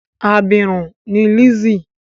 Abirùn ni Lizzy.